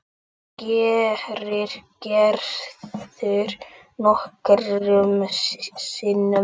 Það gerir Gerður nokkrum sinnum.